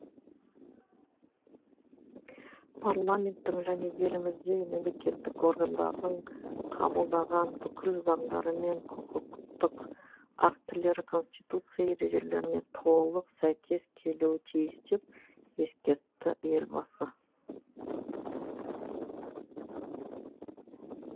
парламенттің және еліміздегі мемлекеттік органдардың қабылдаған бүкіл заңдары мен құқықтық актілері конституция ережелеріне толық сәйкес келуі тиіс деп ескертті елбасы